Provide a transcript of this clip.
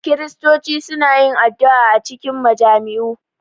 Kiristoci suna yin addu’a a cikin majami’u